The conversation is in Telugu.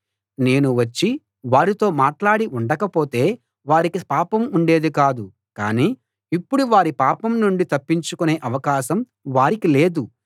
నేను వచ్చి వారితో మాట్లాడి ఉండకపోతే వారికి పాపం ఉండేది కాదు కాని ఇప్పుడు వారి పాపం నుండి తప్పించుకునే అవకాశం వారికి లేదు